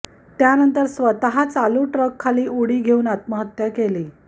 त्यानंतर स्वतः चालू ट्रक खाली उडी घेऊन आत्महत्या केली